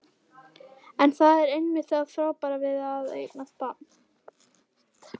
En það er einmitt það frábæra við að eignast barn.